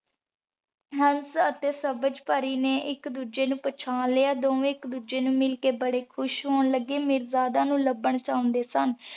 ਹੰਸ ਅਤੇ ਸਬਜ ਪਰੀ ਨੇ ਇਕ ਦੂਜੇ ਨੂ ਪਹਿਚਾਣ ਲਿਆ। ਦੋਵੇ ਇਕ ਦੂਜੇ ਨੂ ਮਿਲ ਕੇ ਬੜੇ ਖੁਸ਼ ਹੋਣ ਲਗੇ ਮੀਰਜਾਦੇ ਨੂੰ ਲਬੰਨ ਚਾਉਂਦੇ ਸਨ।